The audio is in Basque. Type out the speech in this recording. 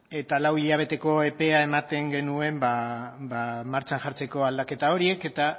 eta lau hilabeteko epea ematen genuen martxan jartzeko aldaketa horiek eta